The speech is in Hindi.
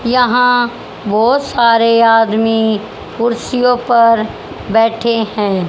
यहां बहोत सारे आदमी कुर्सियों पर बैठे हैं।